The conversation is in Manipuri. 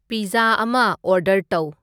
ꯄꯤꯖꯖꯥ ꯑꯃ ꯑꯣꯔꯗꯔ ꯇꯧ